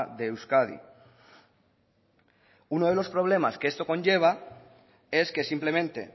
de euskadi uno de los problemas que esto conlleva es que simplemente